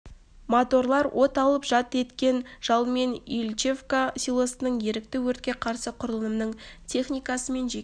моторлар от алып жалт еткен жалынмен ильичевка селосының ерікті өртке қарсы құрылымының техникасы мен жеке